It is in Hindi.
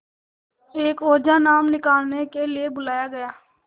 एक ओझा नाम निकालने के लिए बुलाया गया